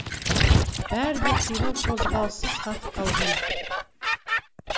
бәрі де қимыл қозғалыссыз қатып қалған